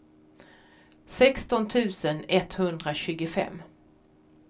sexton tusen etthundratjugofem